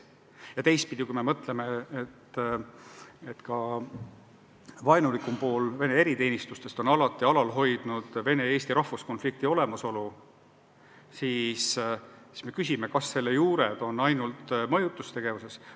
Ja teistpidi, kui me mõtleme, et vaenulikum pool Vene eriteenistustest on alati alal hoidnud vene-eesti rahvuskonflikti olemasolu, siis me küsime, kas selle juured on ainult mõjutustegevuses.